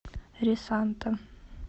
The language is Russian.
ресанта